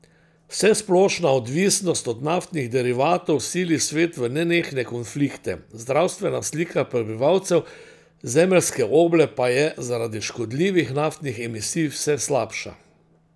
Vsesplošna odvisnost od naftnih derivatov sili svet v nenehne konflikte, zdravstvena slika prebivalcev zemeljske oble pa je zaradi škodljivih naftnih emisij vse slabša.